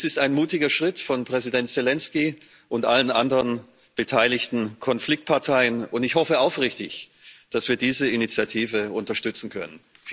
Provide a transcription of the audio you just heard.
Dies ist ein mutiger Schritt von Präsident Selenskyj und allen anderen beteiligten Konfliktparteien, und ich hoffe aufrichtig, dass wir diese Initiative unterstützen können.